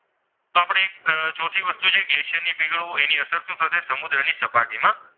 ચોથી વસ્તુ જે છે ગ્લેશિયર નું પીગળવું એની અસર શું થશે? સમુદ્રની સપાટીમાં